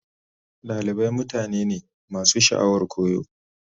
Dalibai mutane ne masu sha'awar koyo.